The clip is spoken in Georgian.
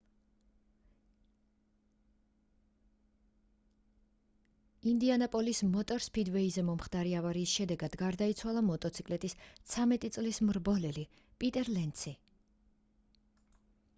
ინდიანაპოლის მოტორ სფიდვეიზე მომხდარი ავარიის შედეგად გარდაიცვალა მოტოციკლის 13 წლის მრბოლელი პიტერ ლენცი